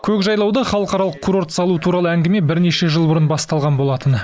көкжайлауда халықаралық курорт салу туралы әңгіме бірнеше жыл бұрын басталған болатын